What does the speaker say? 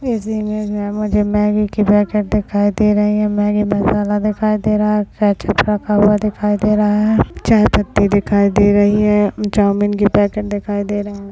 इस इमेज मे मुझे मॅगी की पॅकेट दिखाई दे रही है मॅगी मसाला दिखाई दे रहा है दिखाई दे रहा है चायपत्ति दिखाई दे रही है चाउमीन की पॅकेट दिखाई दे रहे है।